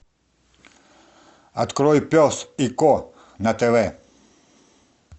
открой пес и ко на тв